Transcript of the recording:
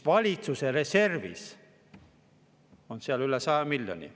Valitsuse reservis on seal üle 100 miljoni.